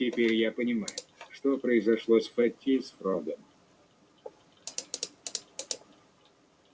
теперь я понимаю что произошло с фэтти и с фрогом